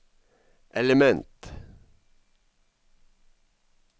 element